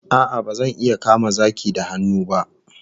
A'a, bazan iya kama zaki da hannu ba